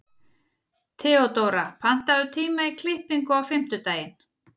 Theodóra, pantaðu tíma í klippingu á fimmtudaginn.